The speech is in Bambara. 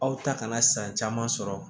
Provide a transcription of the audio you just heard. Aw ta kana san caman sɔrɔ